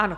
Ano.